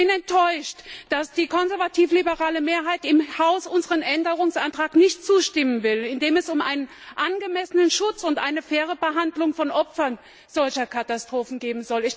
Ich bin enttäuscht, dass die konservativ liberale Mehrheit im Haus unserem Änderungsantrag nicht zustimmen will, in dem es um angemessenen Schutz und faire Behandlung von Opfern solcher Katastrophen geht.